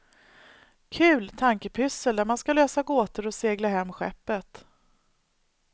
Kul tankepyssel där man ska lösa gåtor och segla hem skeppet.